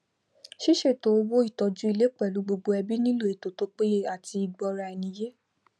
sísètò owó ìtójú ilé pèlú gbogbo ẹbí nílò ètò tó péye àti ìgbóra eni yé